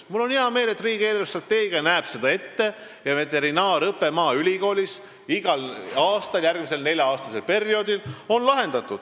Mul on hea meel, et riigi eelarvestrateegia näeb ette veterinaariaõppe Maaülikoolis järgmiseks nelja-aastaseks perioodiks.